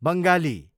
Bengali